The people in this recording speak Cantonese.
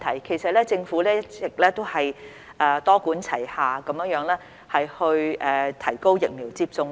其實，政府一直多管齊下提高疫苗接種率。